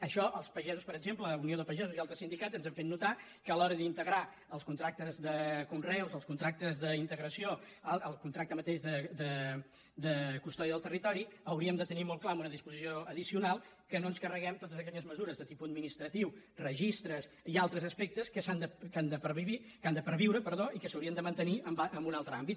això els pagesos per exemple unió de pagesos i altres sindicats ens han fet notar que a l’hora d’integrar els contractes de conreus els contractes d’integració el contracte mateix de custòdia del territori hauríem de tenir molt clar amb una disposició addicional que no ens carreguem totes aquelles mesures de tipus administratiu registres i altres aspectes que han de perviure i que s’haurien de mantenir en un altre àmbit